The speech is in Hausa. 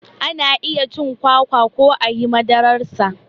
Ana iya cin kwakwa ko ayi madarar sa